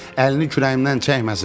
Əlini kürəyimdən çəkməsin.